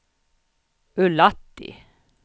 Ullatti